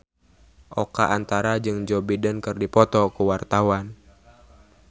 Oka Antara jeung Joe Biden keur dipoto ku wartawan